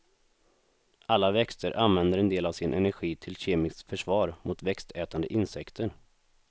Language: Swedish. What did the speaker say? Alla växter använder en del av sin energi till kemiskt försvar mot växtätande insekter.